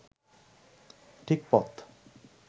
ঠিক পথ